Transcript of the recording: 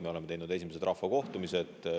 Me oleme teinud esimesed rahvakohtumised.